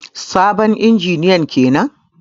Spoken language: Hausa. Sabon injiniyan kenan.